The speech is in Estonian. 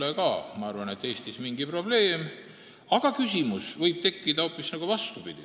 Esiteks, Eesti kohtusüsteem lähtub Mandri-Euroopa tavadest, vastab demokraatliku riigi põhimõtetele ja on üldjoontes õnnestunud.